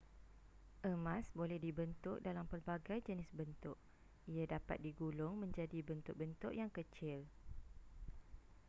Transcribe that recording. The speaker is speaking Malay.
emas boleh dibentuk dalam pelbagai jenis bentuk ia dapat digulung menjadi bentuk-bentuk yang kecil